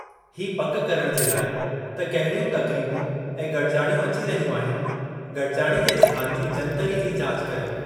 हीअ पकि करणु जे लाइ त कहिड़ियूं तक़रीबूं ऐं गडि॒जाणियूं अची रहियूं आहिनि, गडि॒जाणी जे स्थानु जी जंतरी जी जाच करियो।